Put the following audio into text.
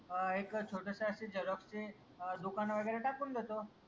अह एक छोटसं असे झेरॉक्सचे दुकान वगैरे टाकून देतो.